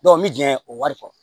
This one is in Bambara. n bɛ jɛn o wari kɔ